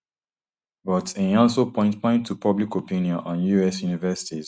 but im also point point to public opinion on us universities